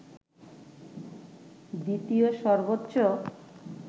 দ্বিতীয় সর্বোচ্চ